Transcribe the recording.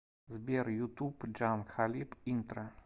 сбер ютуб джан кхалиб интро